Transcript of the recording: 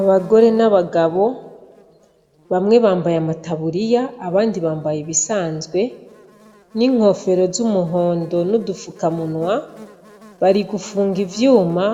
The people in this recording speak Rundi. Abagore n'abagabo, bamwe bambaye amataburiya abandi bambaye ibisanzwe n'inkofero z'umuhondo n'udupfukamunwa, bari gufunga ivyuma